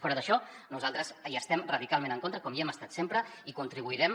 fora d’això nosaltres hi estem radicalment en contra com hi hem estat sempre i contribuirem